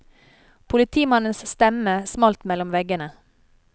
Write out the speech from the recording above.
Politimannens stemme smalt mellom veggene.